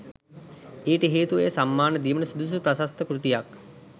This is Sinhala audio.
ඊට හේතුව එය සම්මාන දීමට සුදුසු ප්‍රශස්ත කෘතියක්